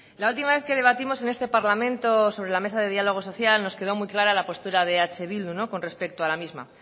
la última vez que debatimos en este parlamento sobre la mesa de diálogo social nos quedó muy clara la postura de eh bildu con respeto a la misma